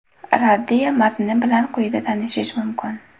Raddiya matni bilan quyida tanishish mumkin.